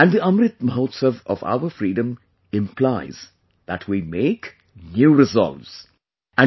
And the Amrit Mahotsav of our freedom implies that we make new resolves...